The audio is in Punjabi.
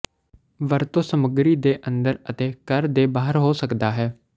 ਵਰਤੋ ਸਮੱਗਰੀ ਦੇ ਅੰਦਰ ਅਤੇ ਘਰ ਦੇ ਬਾਹਰ ਹੋ ਸਕਦਾ ਹੈ